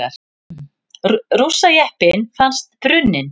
Rússajeppinn fannst brunninn